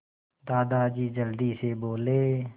दादाजी जल्दी से बोले